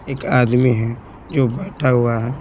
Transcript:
एक आदमी है जो बैठा हुआ है।